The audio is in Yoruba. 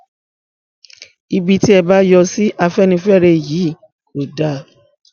ibi tí ẹ bá yọ sí afẹnifẹre yìí kò dáa